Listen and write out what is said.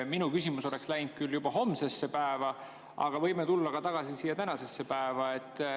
Minu küsimus oleks läinud juba homsesse päeva, aga võime tulla tagasi tänasesse päeva.